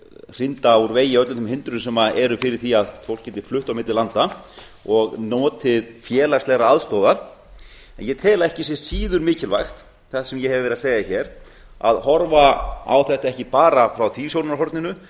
hrinda úr vegi öllum þeim hindrunum sem eru fyrir því að fólk geti flutt á milli landa og notið félagslegrar aðstoðar en ég tel ekki sé síður mikilvægt það sem ég hef verið að segja hér a horfa á þetta ekki bara frá því sjónarhorninu